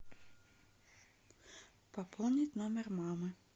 пополнить номер мамы